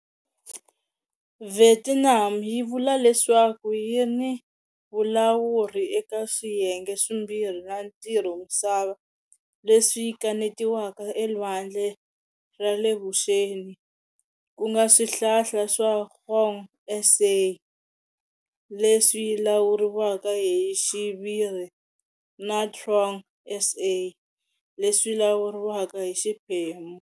Vietnam yi vula leswaku yi ni vulawuri eka swiyenge swimbirhi swa ntivomisava leswi kanetiwaka eLwandle ra le Vuxeni, ku nga swihlala swa Hoang Sa, leswi lawuriwaka hi xiviri, na Truong Sa, leswi lawuriwaka hi xiphemu.